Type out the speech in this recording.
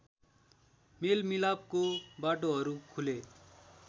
मेलमिलापको बाटोहरू खुले